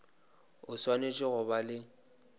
o swanetše go ba le